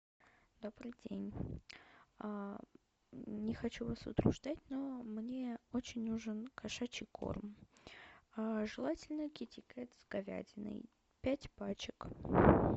добрый день не хочу вас утруждать но мне очень нужен кошачий корм желательно китикет с говядиной пять пачек